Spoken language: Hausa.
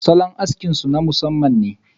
salon aski su na masamman ne.